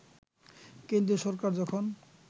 কেন্দ্রীয় সরকার যখন